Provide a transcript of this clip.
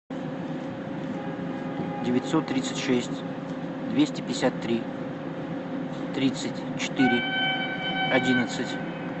девятьсот тридцать шесть двести пятьдесят три тридцать четыре одиннадцать